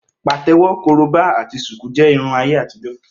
Pàtẹ́wọ́, korobá ati ṣùkú jẹ́ Irun ayé àtijọ́.